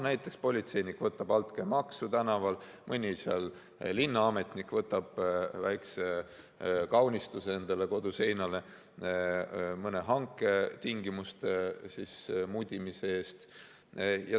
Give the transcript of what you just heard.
Näiteks, politseinik võtab altkäemaksu tänaval, mõni linnaametnik võtab väikese kaunistuse endale kodu seinale mõne hanke tingimuste mudimise eest.